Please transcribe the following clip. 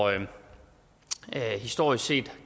man historisk set